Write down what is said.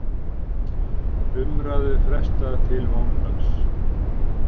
Umræðu frestað til mánudags